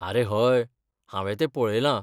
आरे हय! हांवें तें पऴयलां.